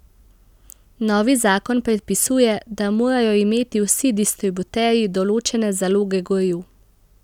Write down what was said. Novi zakon predpisuje, da morajo imeti vsi distributerji določene zaloge goriv.